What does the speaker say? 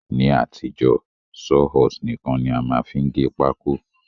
Ní àtijó, Saw horse nìkan ni a má n fi gé pákó